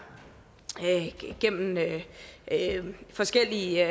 gennem forskellige